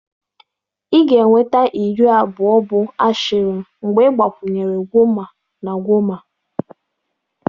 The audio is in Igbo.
Ị ga-enweta iri abụọ bụ Ashirin mgbe ị gbakwunye Gwoma na Gwoma.